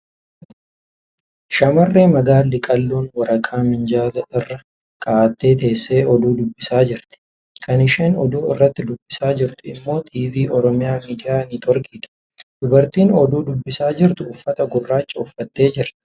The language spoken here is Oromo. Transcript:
Shamarree magaalli qal'oon waraqaa minjaala irra kaa'attee teessee oduu dubbisaa jirti . Kan isheen oduu irratti dubbisaa jirtu immoi TV Oromiyaa Miidiyaa Neetworkiidha. Dubartiin oduu dubbisaa jirtu uffata gurraacha uffattee jirti.